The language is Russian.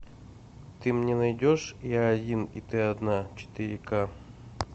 ты мне найдешь я один и ты одна четыре ка